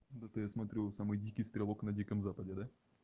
то-то я смотрю вы самые дикиё стрелок на диком западе да